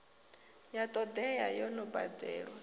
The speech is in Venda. ya todea yo no badelwa